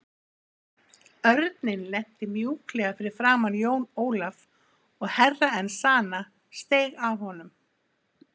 Örninn lenti mjúklega fyrir framan Jón Ólaf og Herra Enzana steig af honum.